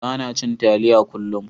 Bana cin taliya kullum.